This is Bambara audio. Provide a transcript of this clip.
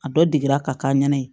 A dɔ degira ka k'a ɲɛna